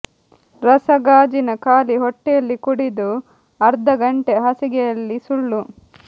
ರಸ ಗಾಜಿನ ಖಾಲಿ ಹೊಟ್ಟೆಯಲ್ಲಿ ಕುಡಿದು ಅರ್ಧ ಗಂಟೆ ಹಾಸಿಗೆಯಲ್ಲಿ ಸುಳ್ಳು